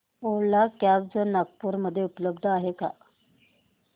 ओला cabs Nagpur मध्ये उपलब्ध आहे का